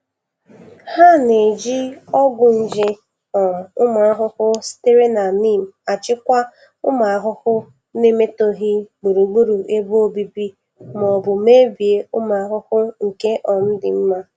Ha na-eji ọgwụ nje um ụmụ ahụhụ sitere na neem achịkwa ụmụ ahụhụ, na-emetọghị gburugburu ebe obibi ma ọ bụ mebie ụmụ ahụhụ nke um dị mma.